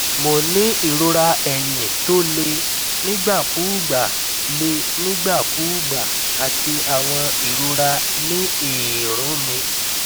mo ń ní ìrora eyín tó le nígbàkúùgbà le nígbàkúùgbà àti àwọn ìrora ní eérún mi